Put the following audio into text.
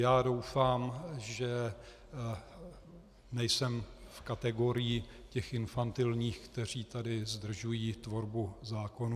Já doufám, že nejsem v kategorii těch infantilních, kteří tady zdržují tvorbu zákonů.